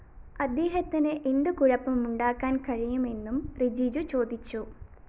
അദ്ദേഹത്തിന് എന്ത് കുഴപ്പം ഉണ്ടാക്കാന്‍ കഴിയുമെന്നും റിജിജു ചോദിച്ചു